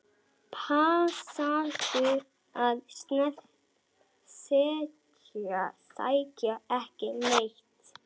Passaðu að segja ekki neitt.